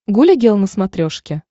гуля гел на смотрешке